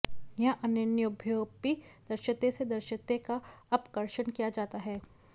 यहाँ अन्येभ्योऽपि दृश्यते से दृश्यते का अपकर्षण किया जाता है